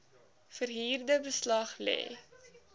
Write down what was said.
verhuurder beslag lê